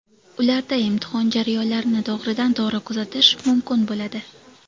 Ularda imtihon jarayonlarini to‘g‘ridan-to‘g‘ri kuzatish mumkin bo‘ladi.